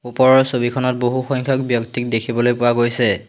ওপৰৰ ছবিখনত বহু সংখ্যক ব্যক্তিক দেখিবলৈ পোৱা গৈছে।